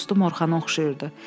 Bir az dostum Orxana oxşayırdı.